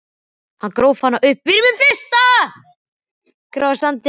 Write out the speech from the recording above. Hann gróf hana upp úr sandinum!